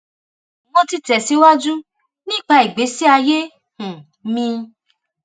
mo ti tẹsíwájú nípa ìgbésí ayé um mi